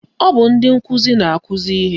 Ọ bụ ndị nkụzi na-akụzi ihe